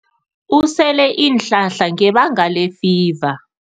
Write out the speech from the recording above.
Usele iinhlahla ngebanga lefiva.